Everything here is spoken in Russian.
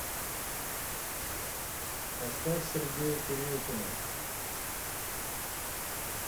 поставь сергея курехина